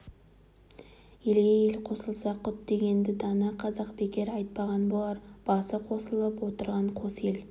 елге ел қосылса құт дегенді дана қазақ бекер айтпаған болар басы қосылып отырған қос ел